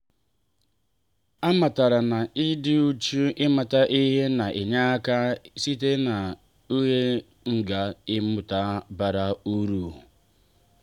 a matara na-ịdị uchu ịmata ihe na-enye aka isite na njehie gaa mmụta bara uru.